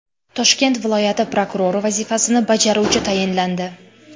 Toshkent viloyati prokurori vazifasini bajaruvchi tayinlandi.